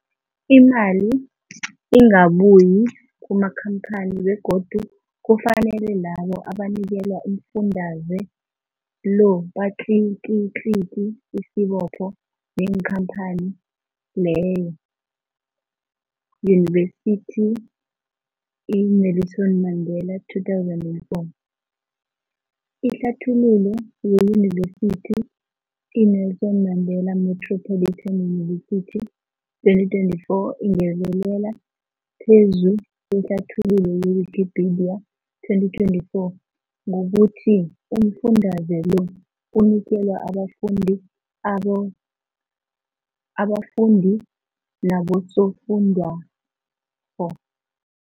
Imali ingabuyi kumakhamphani begodu kufanele labo abanikelwa umfundaze lo batlikitliki isibopho neenkhamphani leyo, Yunivesity i-Nelson Mandela 2004. Ihlathululo yeYunivesithi i-Nelson Mandela Metropolitan University, 2024, ingezelele phezu kwehlathululo ye-Wikipedia, 2024 ngokuthi umfundaze lo unikelwa abafundi aba abafundi nabosofundwakgho.